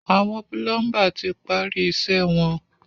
Àwọn púlọ́ḿbà ti parí iṣẹ́ wọn.